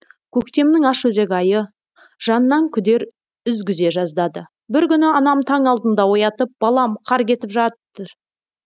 көктемнің ашөзек айы жаннан күдер үзгізе жаздады бір күні анам таң алдында оятып балам қар кетіп жатыр